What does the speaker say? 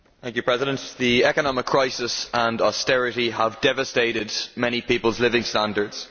Mr President, the economic crisis and austerity have devastated many people's living standards.